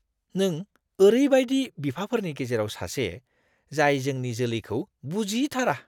नों ओरैबायदि बिफाफोरनि गेजेराव सासे, जाय जोंनि जोलैखौ बुजिथारा!